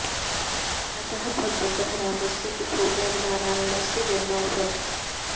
अतः भगवतः रामस्य तिथौ एव नारायणस्य जन्म अभवत्